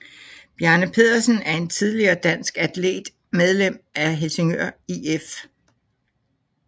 Bjarne Pedersen er en tidligere dansk atlet medlem af Helsingør IF